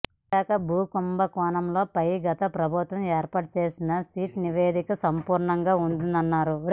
విశాఖ భూ కుంభకోణాలపై గత ప్రభుత్వం ఏర్పాటు చేసిన సిట్ నివేదిక అసంపూర్తిగా ఉందన్నారు